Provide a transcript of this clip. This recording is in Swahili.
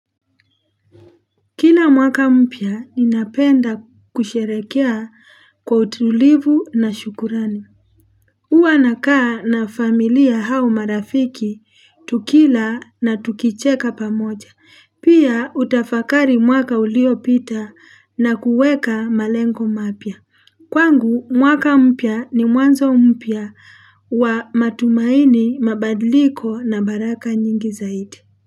Kila mwaka mpya ninapenda kusherehekea kwa utulivu na shukrani huwa nakaa na familia au marafiki tukila na tukicheka pamoja Pia utafakari mwaka uliopita na kuweka malengo mapya Kwangu mwaka mpya ni mwanzo mpya wa matumaini mabadliko na baraka nyingi zaidi.